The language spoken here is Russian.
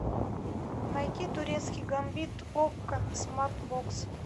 найти турецкий гамбит окко смарт бокс